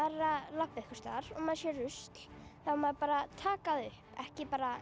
labba einhvers staðar og maður sér rusl þá á maður bara að taka það upp ekki bara